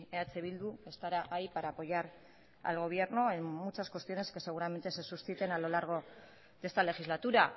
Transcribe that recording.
eh bildu estará ahí para apoyar al gobierno en muchas cuestiones que seguramente se susciten a lo largo de esta legislatura